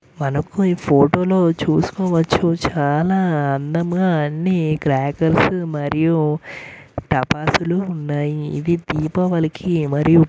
మనకు ఈ ఫోటో లో చూసుకోవచ్చు చాలా అందంగా అన్ని క్రాకర్స్ మరియు టపాసులు ఉన్నాయి. ఇది దీపావళికి మరియు --